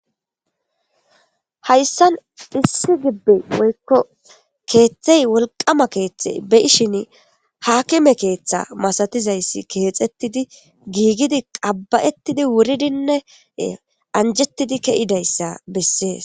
Hayssan issi gibbey woykko keeththey wolqama keeththey beishin haakime keeththa masatizayssi keexettidi giigidi qabbayettidi wuridinne anjettidi ke'idayssa bessees.